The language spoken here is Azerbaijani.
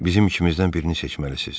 Bizim ikimizdən birini seçməlisiz.